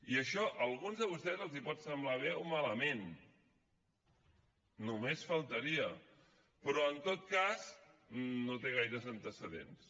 i això a alguns de vostès els pot semblar bé o malament només faltaria però en tot cas no té gaires antecedents